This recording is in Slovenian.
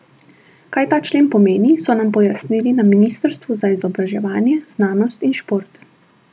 Kaj ta člen pomeni, so nam pojasnili na ministrstvu za izobraževanje, znanost in šport.